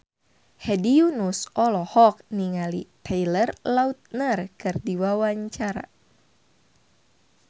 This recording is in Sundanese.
Hedi Yunus olohok ningali Taylor Lautner keur diwawancara